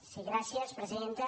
sí gràcies presidenta